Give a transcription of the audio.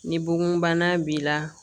Ni bon bana b'i la